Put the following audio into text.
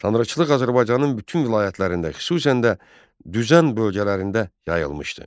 Tanrıçılıq Azərbaycanın bütün vilayətlərində, xüsusən də düzən bölgələrində yayılmışdı.